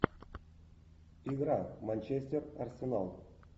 игра манчестер арсенал